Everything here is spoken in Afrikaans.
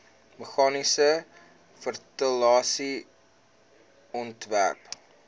meganiese ventilasie ontwerp